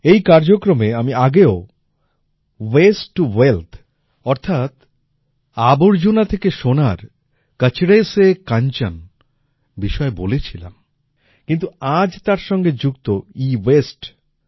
এই কার্যক্রমে আমি আগেও ওয়াস্তে টো ওয়েলথ অর্থাৎ আবর্জনা থেকে সোনার কচড়ে সে কাঞ্চন বিষয়ে বলেছিলাম কিন্তু আজ তার সঙ্গে যুক্ত এওয়াসতে